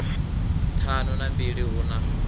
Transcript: ṱhanu na mbili hu na